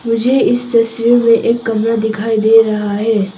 मुझे इस दृश्य में एक कमरा दिखाई दे रहा हैं।